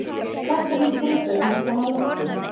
Krakkarnir gripu andann á lofti.